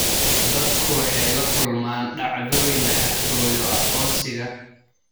Dadku waxay la kulmaan dhacdooyin xatooyo aqoonsiga.